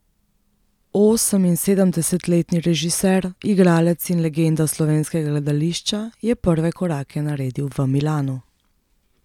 Oseminsedemdesetletni režiser, igralec in legenda slovenskega gledališča je prve korake naredil v Milanu.